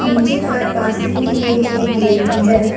नीचे पर पासिंग के लिए एक गेट भी है।